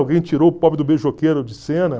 Alguém tirou o pobre do beijoqueiro de cena.